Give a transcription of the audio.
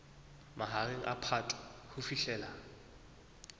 mahareng a phato ho fihlela